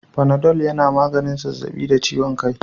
Fanadol yana maganin zazzabi da ciwon kai